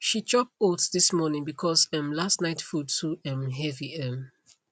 she chop oats this morning because um last night food too um heavy um